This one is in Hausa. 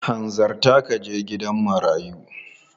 Hanzarta ka je gidan marayun!